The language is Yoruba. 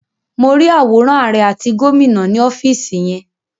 Mo rí àwòrán àrẹ àti gómìnà ni ọ́fìsì yẹn.